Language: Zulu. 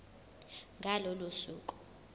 ngalo lolo suku